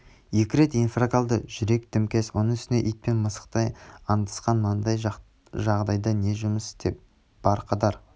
екі рет инфаркт алды жүрек дімкәс оның үстіне ит пен мысықтай аңдысқан мынандай жағдайда не жұмыс істеп барқадар